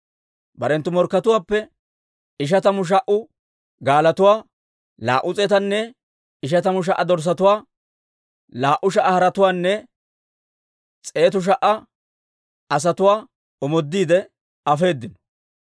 Barenttu morkkatuwaappe ishatamu sha"a gaalotuwaa, laa"u s'eetanne ishatamu sha"a dorssatuwaa, laa"u sha"a haretuwaanne s'eetu sha"a asatuwaa omoodiide afeedino.